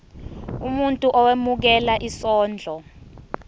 umuntu owemukela isondlo